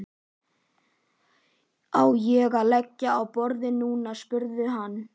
Á ég að leggja á borðið núna? spurði hann.